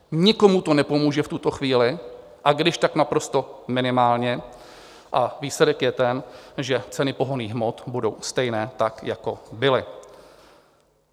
Nikomu to nepomůže v tuto chvíli, a když, tak naprosto minimálně, a výsledek je ten, že ceny pohonných hmot budou stejné, tak jako byly.